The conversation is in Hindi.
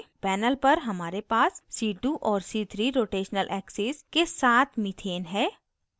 panel पर हमारे पास c2 और c3 rotational axes के साथ methane है